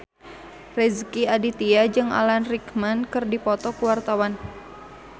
Rezky Aditya jeung Alan Rickman keur dipoto ku wartawan